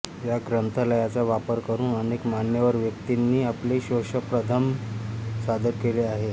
या ग्रंथालयाचा वापर करुन अनेक मान्यवर व्यक्तींनी आपले शोधप्रबंध सादर केले आहेत